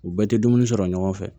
U bɛɛ tɛ dumuni sɔrɔ ɲɔgɔn fɛ